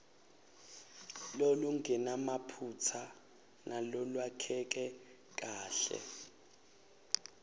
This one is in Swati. lolungenamaphutsa nalolwakheke kahle